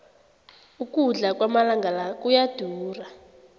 ukudla kwamalanga la kuyadura